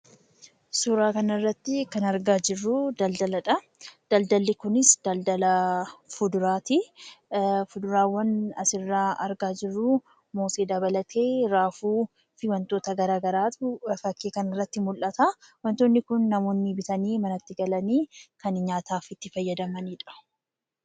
Suura kana irratti kan argaa jirru daldaaladha. Daldaalli Kunis Daldaala fuduraati. Fuduraawwan asirratti argaa jirru muuzii dabalatee raafuu fi wantoota garagaraatu fakii kana irratti mul'ata. Wantootni Kun kan namoonni bitanii manatti galanii itti fayyadamanidha.